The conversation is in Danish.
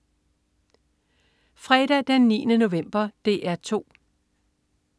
Fredag den 9. november - DR 2: